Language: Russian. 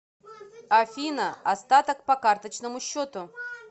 афина остаток по карточному счету